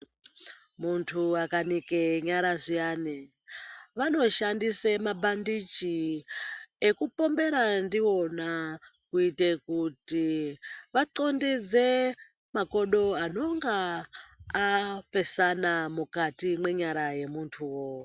Muntu akanike nyara zviyane, vanoshandise mabhandiji ekupombera ndiwona kuite kuti vaxondeze makodo anonga apesana mukati menyara yomuntuwo.